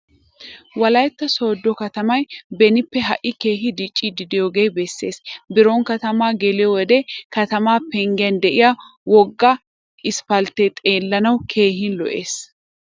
Wolaytta sooddo katamay benippe ha"i keehi diccidoogaa bessees. Biron katamaa geliyo wode katamaa penggiyan de'iya wogga isppalttee xeellanawu keehi lo'ees.